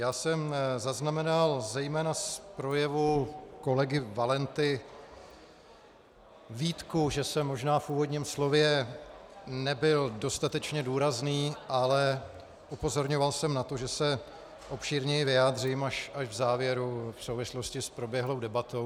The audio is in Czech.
Já jsem zaznamenal zejména z projevu kolegy Valenty výtku, že jsem možná v úvodním slově nebyl dostatečně důrazný, ale upozorňoval jsem na to, že se obšírněji vyjádřím až v závěru v souvislosti s proběhlou debatou.